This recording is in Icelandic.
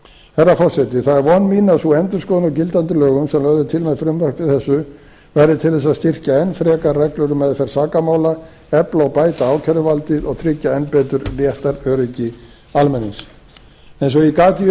herra forseti það er von mín að sú endurskoðun á gildandi lögum sem lögð er til með frumvarpi þessu verði til að styrkja enn frekar reglur um meðferð sakamála efla og bæta ákæruvaldið og tryggja enn betur réttaröryggi almennings eins og ég gat í